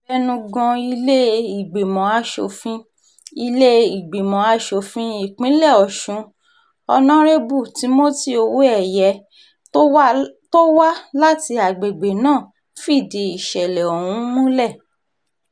abẹnugan ilé-ìgbìmọ̀ asòfin ilé-ìgbìmọ̀ asòfin ìpínlẹ̀ ọ̀sùn honarebu timothy owóẹ̀yẹ tó wá láti agbègbè náà fìdí ìsẹ̀lẹ̀ ọ̀hún múlẹ̀